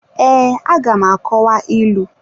Ee, aga m akọwa ịlụ.